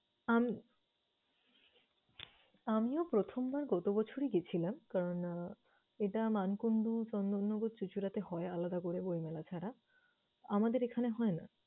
আম~ আমিও প্রথমবার গত বছরই গেছিলাম কারণ আহ এটা মানকুন্ডু চন্দননগর চিচুড়াতে হয় আলাদা করে বইমেলা ছাড়া। আমাদের এখানে হয় না।